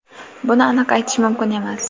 buni aniq aytish mumkin emas.